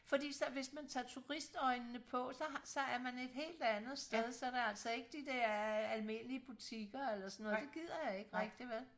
Fordi så hvis man tager turist øjnene på så har er man et helt andet sted så der altså ikke de der almindelige butikker eller sådan noget det gider jeg ikke rigtig vel